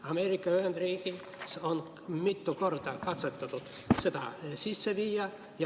Ameerika Ühendriikides on mitu korda katsetatud seda sisse viia.